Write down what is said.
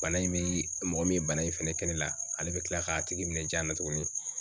Bana in bi mɔgɔ min bana in fɛnɛ kɛ ne la, ale be kila k'a tigi minɛ janna tugunni.